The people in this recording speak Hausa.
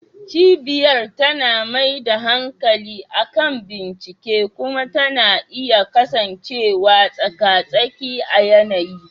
Cibiyar tana mai da hankali kan bincike kuma tana iya kasancewa tsaka-tsaki a yanayi.